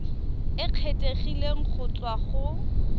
e kgethegileng go tswa go